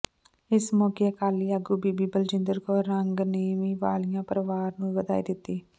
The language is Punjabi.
ਇਸ ਮੋਕੇ ਅਕਾਲੀ ਆਗੂ ਬੀਬੀ ਬਲਜਿੰਦਰ ਕੌਰ ਕੰਗ ਨੇ ਵੀ ਵਾਲੀਆ ਪਰਿਵਾਰ ਨੂੰ ਵਧਾਈ ਦਿੱੱਤੀ